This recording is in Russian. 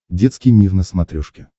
детский мир на смотрешке